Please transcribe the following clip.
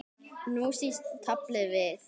Og nú snýst taflið við.